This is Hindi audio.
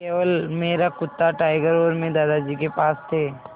केवल मेरा कुत्ता टाइगर और मैं दादाजी के पास थे